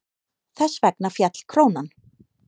Þess vegna féll krónan.